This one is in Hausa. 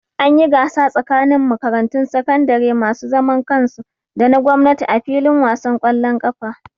An yi gasa tsakanin makarantun sakandare masu zaman kansu da na gwamnati a fillin wasan ƙwallon ƙafa